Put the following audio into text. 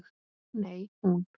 Nei, hún.